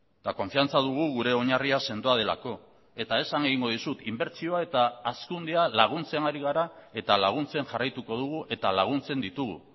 eta konfiantza dugu gure oinarria sendoa delako eta esan egingo dizut inbertsioa eta hazkundea laguntzen ari gara eta laguntzen jarraituko dugu eta laguntzen ditugu